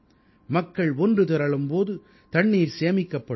மக்கள் ஒன்று திரளும் போது தண்ணீர் சேமிக்கப்படும்